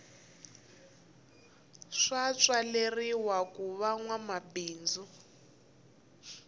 swa tswaleriwa kuva nwa mabindzu